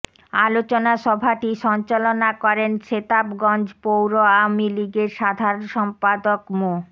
আলোচনা সভাটি সঞ্চালনা করেন সেতাবগঞ্জ পৌর আওয়ামী লীগের সাধারণ সম্পাদক মো